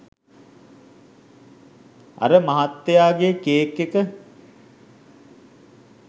අර ' මහත්තයාගේ කේක් එක'